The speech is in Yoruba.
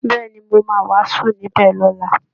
Bẹ́ẹ̀ ni, mo máa wàásù níbẹ̀ lọ́la